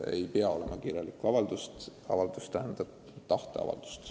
Ei pea esitama kirjalikku avaldust.